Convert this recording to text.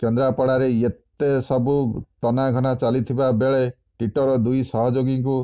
କେନ୍ଦ୍ରାପଡ଼ାରେ ଏତେ ସବୁ ତନାଘନା ଚାଲିଥିବା ବେଳେ ଟିଟୋର ଦୁଇ ସହଯୋଗୀଙ୍କୁ